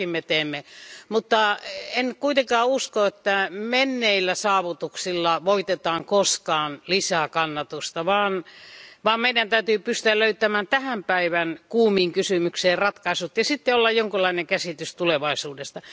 Sitäkin me teemme. Mutta en kuitenkaan usko, että menneillä saavutuksilla voitetaan koskaan lisää kannatusta, vaan meidän täytyy pystyä löytämään tämän päivän kuumiin kysymyksiin ratkaisut ja meillä täytyy olla jonkinlainen käsitys tulevaisuudesta.